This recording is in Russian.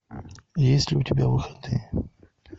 есть ли у тебя выходные